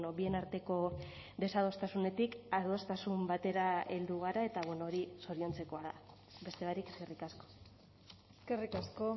bien arteko desadostasunetik adostasun batera heldu gara eta hori zoriontzekoa da beste barik eskerrik asko eskerrik asko